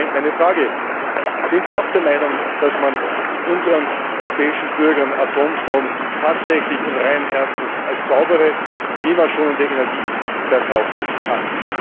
Nun, Herr Präsident Barroso, meine Frage Sind Sie auch der Meinung, dass man unseren europäischen Bürgern Atomstrom tatsächlich und reinen Herzens als saubere und klimaschonende Energie verkaufen kann?